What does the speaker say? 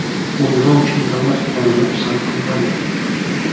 U nima uchun davlat qonunini pisand qilmadi?